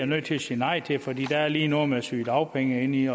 nødt til at sige nej til fordi der lige er noget med sygedagpenge inde i